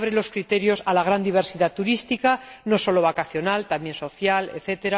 Abre los criterios a la gran diversidad turística, no sólo vacacional, también social, etc.